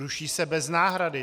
Ruší se bez náhrady.